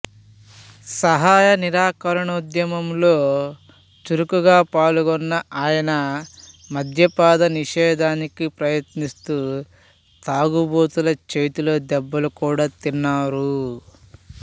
సహాయ నిరాకరణోద్యమంలో చురుగ్గా పాల్గొన్న ఆయన మద్యపాన నిషేధానికి ప్రయత్నిస్తూ తాగుబోతుల చేతిలో దెబ్బలు కూడా తిన్నారు